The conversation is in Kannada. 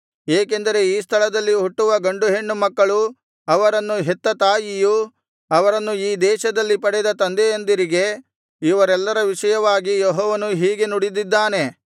ಏಕೆಂದರೆ ಈ ಸ್ಥಳದಲ್ಲಿ ಹುಟ್ಟುವ ಗಂಡು ಹೆಣ್ಣು ಮಕ್ಕಳು ಅವರನ್ನು ಹೆತ್ತ ತಾಯಿಯರು ಅವರನ್ನು ಈ ದೇಶದಲ್ಲಿ ಪಡೆದ ತಂದೆಯಂದಿರಿಗೆ ಇವರೆಲ್ಲರ ವಿಷಯವಾಗಿ ಯೆಹೋವನು ಹೀಗೆ ನುಡಿದಿದ್ದಾನೆ